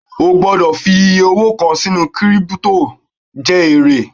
O gbọ́dọ̀ fi iyẹ owó kàn sínú kírípítò jẹ èrè